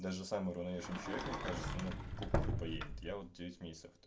даже самый обыкновенный человек мне кажется мы кукухой поедет я вот девять месяцев тут